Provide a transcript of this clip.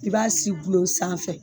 I b'a si gulon sanfɛ